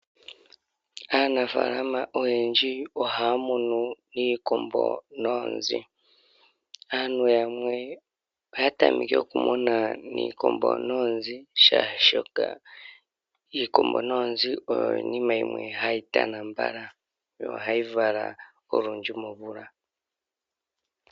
Aanafalama oyendji ohamunu iikombo noozi, aantu yamwe oha tameke okumuna iikombo noozi sha shoka iikombo noozi oyo iinima yimwe hayitana mbala yo ohayi vala olundji momvula.